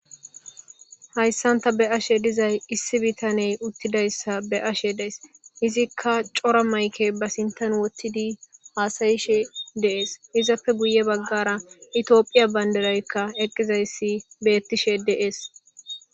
Hayssan ta be7ashe dizay issi bitaney uttidayssa be7ashe days. Izikka cora mayke ba sinthan wottidi haasayishe de7ees. Izappe guye baggara Itophiya banddiraykka eqqizayssi beettishe de7ees.